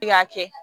K'a kɛ